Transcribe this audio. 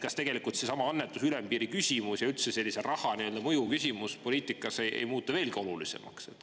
Kas seesama annetuse ülempiiri küsimus ja üldse raha mõju küsimus poliitikas ei muutu veelgi olulisemaks?